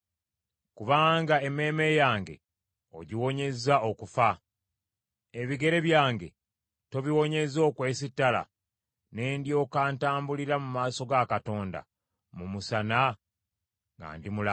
Kubanga emmeeme yange ogiwonyezza okufa. Ebigere byange tobiwonyezza okwesittala; ne ndyoka ntambulira mu maaso ga Katonda mu musana nga ndi mulamu?